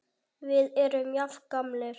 Við erum jafn gamlir.